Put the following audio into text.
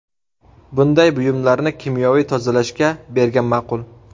Bunday buyumlarni kimyoviy tozalashga bergan ma’qul.